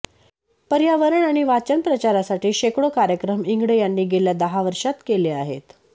पर्यावरण आणि वाचन प्रसारासाठी शेकडो कार्यक्रम इंगळे यांनी गेल्या दहा वर्षांत केले आहेत